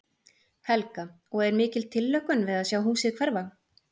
Helga: Og er mikil tilhlökkun við að sjá húsið hverfa?